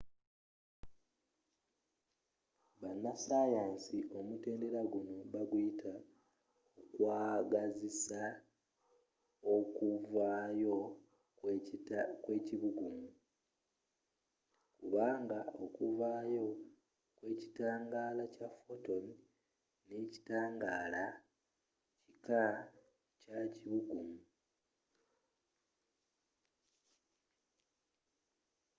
banasayansi omutendera guno baguyita okwagazisa okuvaayo kw’ekibugumu” kubanga okuvaayo kw’ekitangala kya photon n’ekitangaala kika kyakibugumu